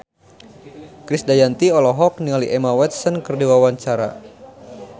Krisdayanti olohok ningali Emma Watson keur diwawancara